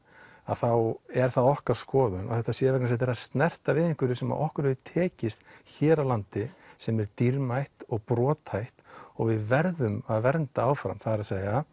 þá er það okkar skoðun að þetta sé vegna þess að þetta er að snerta við einhverju sem okkur hefur tekist hér á landi sem er dýrmætt og brothætt og við verðum að vernda áfram það er